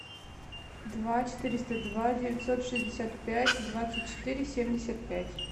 два четыреста два девятьсот шестьдесят пять двадцать четыре семьдесят пять